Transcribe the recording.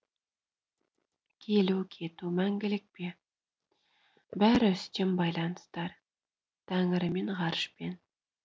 келу кету мәңгілік пе бәрі үстем байланыстар тәңірімен ғарышпен